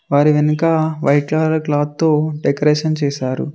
వారి వెనక white colour cloth తో డెకరేషన్ చేశారు.